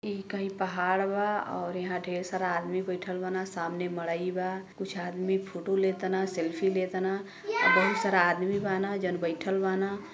ई कही पहाड़ बा और यहां ढेर सारा आदमी बईठल बान। सामने मड़ई बा। कुछ आदमी फोटो लेतान सेल्फी लेतान आ बहुत सारा आदमी बान जौन बईठल बान।